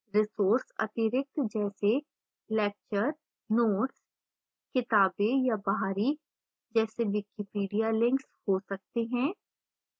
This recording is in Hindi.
resources आंतरिक जैसे lecture notes किताबें या बाहरी जैसे wikipedia links हो सकते हैं